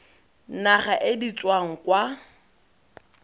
naga e di tswang kwa